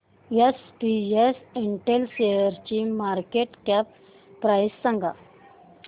SPS Intel शेअरची market cap price सांगा